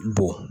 Bon